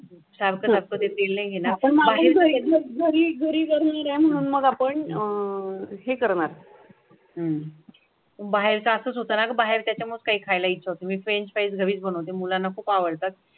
हम्म बाहेरचे असं होतं ना बाहेर त्याच्यामुळे काही खायला इच्छा होती मी फ्रेंच फ्राईज बनवते मुलांना खूप आवडतात.